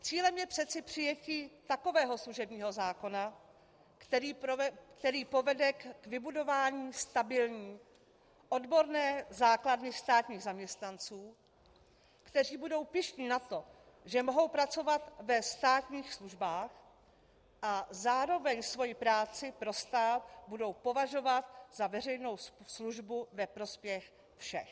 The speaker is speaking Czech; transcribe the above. Cílem je přece přijetí takového služebního zákona, který povede k vybudování stabilní odborné základny státních zaměstnanců, kteří budou pyšní na to, že mohou pracovat ve státních službách, a zároveň svoji práci pro stát budou považovat za veřejnou službu ve prospěch všech.